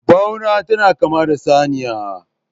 bauna tana kama da saniya